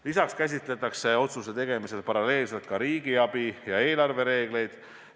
Lisaks käsitletakse otsuse tegemisel paralleelselt ka riigiabi ja eelarve reegleid.